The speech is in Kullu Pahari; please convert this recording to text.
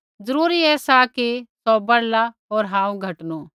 जरूरी ऐसा कि सौ बढ़ला होर हांऊँ घटनू